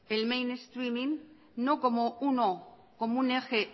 el mainstreaming no como un eje